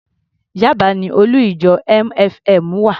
Yaba ni olú-ìjọ MFM wà.